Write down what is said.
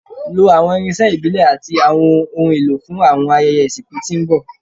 Lo awọn irinṣẹ ibile ati awọn ohun elo fun awọn ayẹyẹ isinku ti n bọ